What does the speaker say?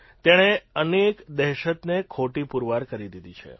તેણે અનેક દહેશતને ખોટી પુરવાર કરી દીધી છે